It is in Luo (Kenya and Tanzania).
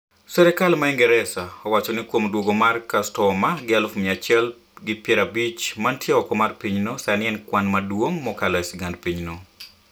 serkal ma ingeresa owacho ni kuom duogo mara kastoma gi aluf mia achiel gi piero abich manntie oko mar pinyno sani e kwan maduong' mokalo e sigand pinyno.